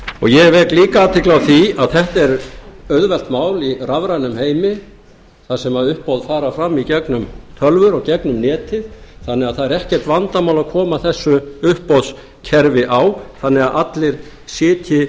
ég vek líka athygli á því að þetta er auðvelt mál í rafrænum heimi þar sem uppboð fara fram í gegnum tölvur og gegnum netið þannig að það er ekkert vandamál að koma þessu uppboðskerfi á þannig að allir sitji